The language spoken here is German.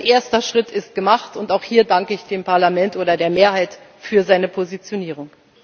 Ein erster Schritt ist gemacht, und auch hier danke ich dem Parlament, oder der Mehrheit, für seine Positionierung.